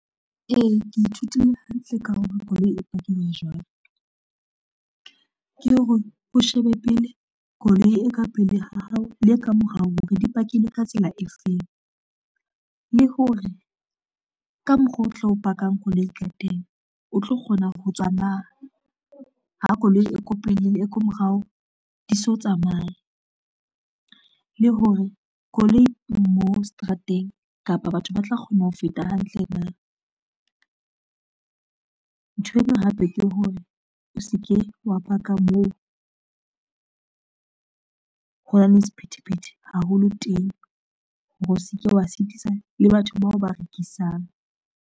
Ee, ke ithutile hantle ka hore koloi e pakuwa jwang. Ke hore o shebe pele koloi e ka pele ha hao le e ka morao hore di pakilwe ka tsela e feng, le hore ka mokgwa o tlo pakang koloi ka teng o tlo kgona ho tswa na, ha koloi e ko pele le e ko morao, di so tsamaye. Le hore koloi mo seterateng kapa batho ba tla kgona ho feta hantle na, nthwena hape ke hore o se ke wa paka moo ho nang le sephethephethe haholo teng hore o se ke wa sitisa le batho bao ba rekisang.